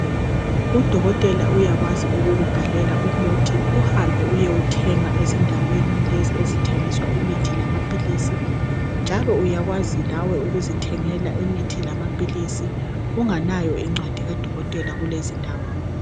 udokotela uyakwazi ukubhalela umuthi uhambe uyowuthenga ezindaweni lezi ezithengiswa imithi lamaphilisi njalo uyakwazi lawe ukuzithengela imithi lamaphilisi ungalayo incwadi ka dokotela kulezindawo